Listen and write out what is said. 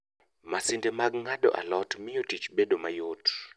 Masinde mag ng'ado alot mio tich bedo mayot